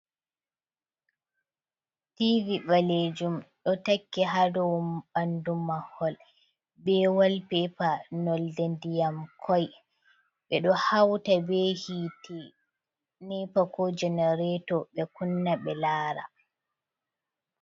Tivi balejum :Ɗo takki ha ɗow ɓandu mahol be wal pepa norɗe ndiyam koi ɓe ɗo hauta be hiiti nepa ko genarato ɓe kunna ɓe lara.